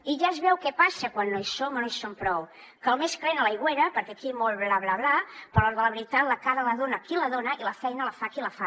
i ja es veu què passa quan no hi som o no hi som prou que el més calent és a l’aigüera perquè aquí molt bla bla bla però a l’hora de la veritat la cara la dona qui la dona i la feina la fa qui la fa